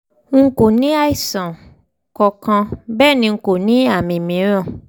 n kò ní àìsàn kankan bẹ́ẹ̀ ni n kò ní àwọn àmì mìíràn